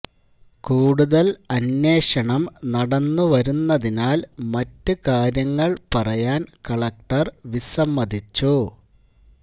കൂടുതല് അന്വേഷണം നടന്നുവരുന്നതിനാല് മറ്റു കാര്യങ്ങള് പറയാന് കലക്ടര് വിസമ്മതിച്ചു